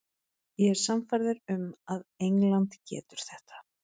Ég er sannfærður um að England getur þetta.